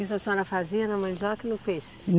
Isso a senhora fazia na mandioca ou no peixe?